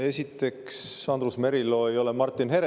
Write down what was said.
Esiteks, Andrus Merilo ei ole Martin Herem.